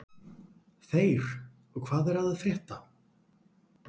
Þeyr, hvað er að frétta?